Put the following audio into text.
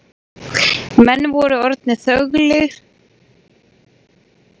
Menn voru orðnir þöglir í skálanum og allra augu voru á Jóni Arasyni.